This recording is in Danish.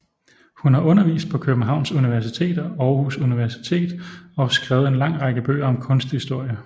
Hun har undervist på Københavns Universitet og Aarhus Universitet og skrevet en lang række bøger om kunsthistorie